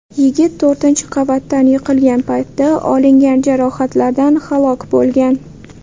Yigit to‘rtinchi qavatdan yiqilgan paytda olingan jarohatlardan halok bo‘lgan.